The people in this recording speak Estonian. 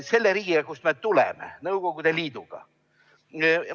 – selle riigiga, kust me tuleme, Nõukogude Liiduga.